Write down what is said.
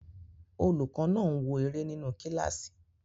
Olùkọ́ náà ń wo eré nínu kílásì